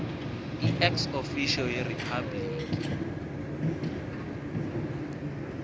iex officio yeripabliki